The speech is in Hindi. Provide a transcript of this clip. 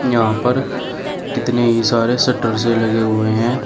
यहां पर कितने ही सारे शटर से लगे हुए हैं।